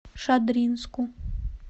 шадринску